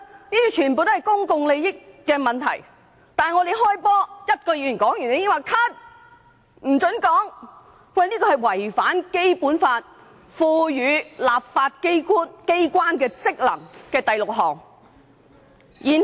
這些全屬公共利益問題，但我們才剛開始辯論，只有一位議員發言後便被叫停，這是違反了《基本法》賦予立法機關的第六項職權。